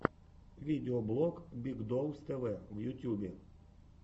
видеоблог биг доус тэ вэ в ютюбе